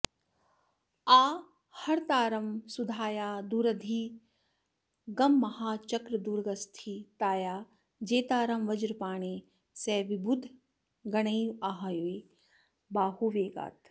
आहर्तारं सुधाया दुरधिगममहाचक्रदुर्गस्थितायाः जेतारं वज्रपाणेः सह विबुधगणैराहवे बाहुवेगात्